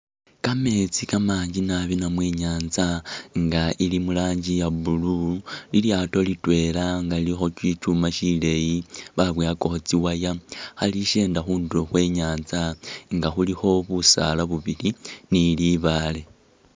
Kametsi kamanji naabi namwe i'nyanza i'nga ili murangi ya blue lilyaato litwela nga lilikho shichuma shiliya baboowakakho tsi'wire khalishenda khundulo khwenyanza nga khulikho busaala bubili ni libaale